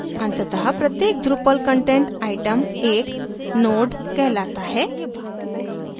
अंततः प्रत्येक drupal content item एक node कहलाता है